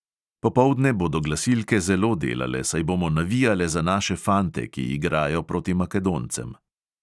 Popoldne bodo glasilke zelo delale, saj bomo navijale za naše fante, ki igrajo proti makedoncem.